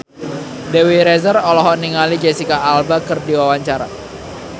Dewi Rezer olohok ningali Jesicca Alba keur diwawancara